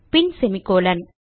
பின் semicolon